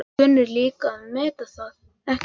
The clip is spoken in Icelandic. Þú kunnir líka að meta það, ekki satt?